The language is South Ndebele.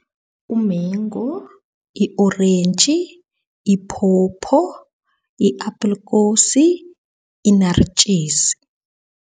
Umengu, i-orentji, iphopho, i-abhilikosi, inaritjisi.